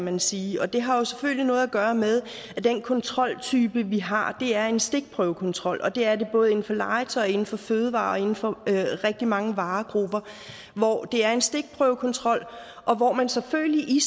man sige og det har jo selvfølgelig noget at gøre med at den kontroltype vi har er en stikprøvekontrol og det er det både inden for legetøj og inden for fødevarer og inden for rigtig mange varegrupper det er en stikprøvekontrol hvor man selvfølgelig i